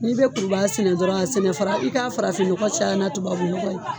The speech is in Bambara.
N'i bɛ kurubaga sɛnɛ dɔrɔn a sɛnɛ fara i ka farafinnɔgɔ caya na tubabunɔgɔ ye